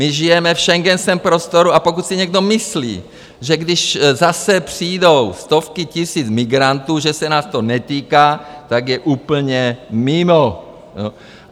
My žijeme v Schengenském prostoru, a pokud si někdo myslí, že když zase přijdou stovky tisíc migrantů, že se nás to netýká, tak je úplně mimo.